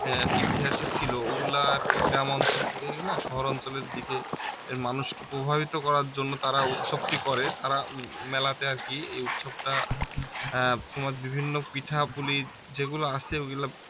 হ্যাঁ ইতিহাসে ছিলো ওগুলা আর কি গ্রাম অঞ্চল থেকে এগুলা শহর অঞ্চলের দিকের মানুষকে প্রভাবিত করার জন্য তারা উৎসবটি করে তারা মেলাতে আর কি এ উৎসবটা এর তোমার বিভিন্ন পিঠাপুলি যেগুলা আছে ওগুলা